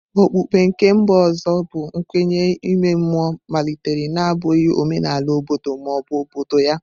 Okpukpe nke mba ọzọ bụ nkwenye ime mmụọ malitere na-abụghị omenala obodo ma ọ bụ obodo ya.